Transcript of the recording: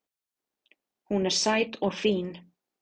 Hún er sæt og fín